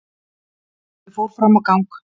Ég fór fram á gang.